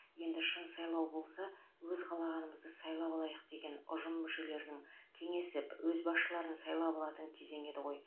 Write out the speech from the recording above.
енді шын сайлау болса өз қалағанымызды сайлап алайық деген ұжым мүшелерінің кеңесіп өз басшыларын сайлап алатын кезеңі еді ғой